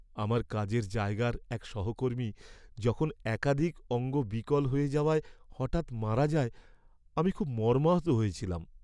আমার কাজের জায়গার এক সহকর্মী যখন একাধিক অঙ্গ বিকল হয়ে যাওয়ায় হঠাৎ মারা যায়, আমি খুব মর্মাহত হয়েছিলাম।